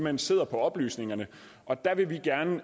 hen sidder på oplysningerne og der vil vi gerne